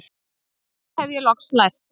Af því hef ég loks lært